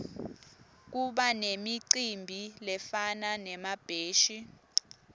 kubanemicimbi lefana nemabheshi